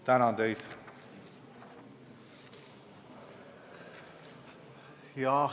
Tänan teid!